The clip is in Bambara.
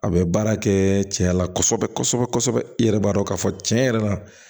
A bɛ baara kɛ cɛya la kosɛbɛ kosɛbɛ kosɛbɛ i yɛrɛ b'a dɔn k'a fɔ cɛn yɛrɛ la